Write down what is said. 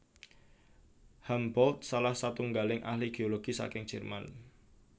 Humboldt salah satunggaling ahli geologi saking Jerman